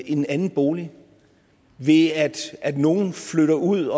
en anden bolig ved at nogle flytter ud